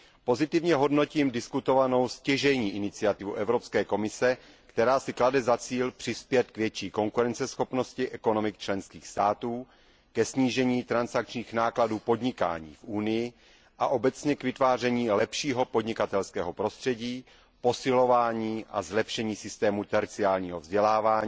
Pozitivně hodnotím diskutovanou stěžejní iniciativu Evropské komise, která si klade za cíl přispět k větší konkurenceschopnosti ekonomik členských států, ke snížení transakčních nákladů podnikání v Unii a obecně k vytváření lepšího podnikatelského prostředí, posilování a zlepšení systému terciárního vzdělávání